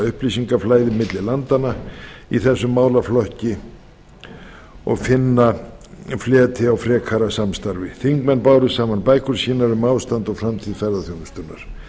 upplýsingaflæði milli landanna í þessum málaflokki og finna fleti á frekara samstarfi þingmenn báru saman bækur sínar um ástand og framtíð ferðaþjónustunnar